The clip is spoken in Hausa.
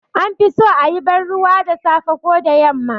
An fi so a yi banruwa da safe ko da yamma